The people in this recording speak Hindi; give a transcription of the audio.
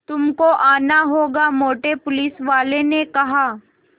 तुमको आना होगा मोटे पुलिसवाले ने कहा